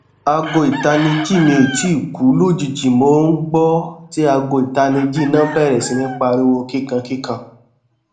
aago itaniji mi o tii ku lojiji mo n gbọ ti aago itaniji ina bẹrẹ si ni pariwo kikan kikan